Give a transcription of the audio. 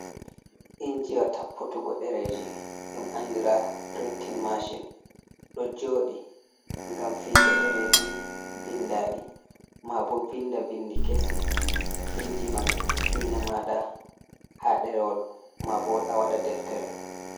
Injiwa tapputugo ɗereeji ,ɗum anndira pirinta maacin. Ɗo jooɗi ngam fiigo ɗereeji binndaaɗi, maabo vinnda binndi kesi. Inji man fiina maaɗa haa ɗerewol ,maabo a waɗa deftere.